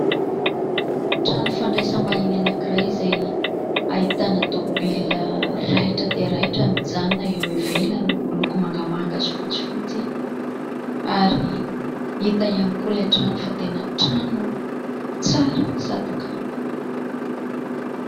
Trano fandraisam-bahiny anankiray izay ahitana "tomobilina" raitra dia raitra mijanona eo ivelany miloko mangamanga sy fotsifotsy ary hita ihany koa ilay trano fa tena trano tsara sady kanto.